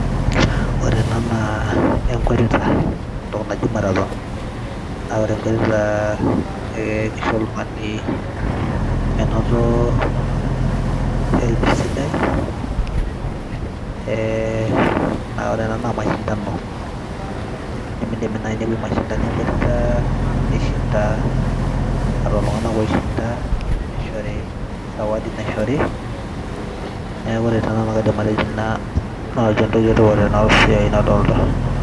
Ore ena naa enkwetita entoki naji marathon, naa ore enkwetita ee kisho oltung'ani menoto health, ee ore ena naa mashindano. Indimidimi nai nepuoi mashindano e nkwetita nishinda, ore lelo tung'anak oishinda nesihori zawadi naishori neeku korete nanu kaidim atejo entoki e tipat tena siai nadolta.